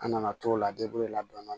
An nana t'o la la dɔɔnin